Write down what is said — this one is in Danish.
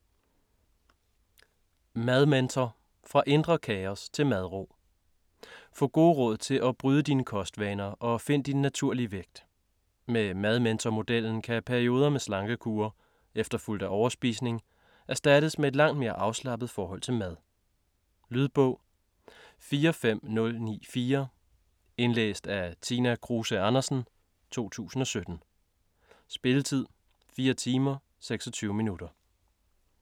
Madmentor: fra indre kaos til madro Få gode råd til at bryde dine kostvaner og find din naturlige vægt. Med madmentormodellen kan perioder med slankekure efterfulgt af overspisning erstattes med et langt mere afslappet forhold til mad. Lydbog 45094 Indlæst af Tina Kruse Andersen, 2017. Spilletid: 4 timer, 26 minutter.